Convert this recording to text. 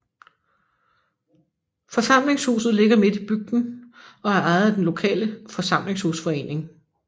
Forsamlingshuset ligger midt i bygden og er ejet af den lokale forsamlingshusforening